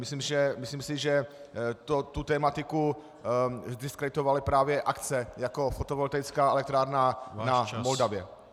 Myslím si, že tuto tematiku zdiskreditovaly právě akce jako fotovoltaická elektrárna na Moldavě.